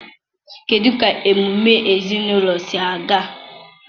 kedụ ka emume ezinụlọ si aga?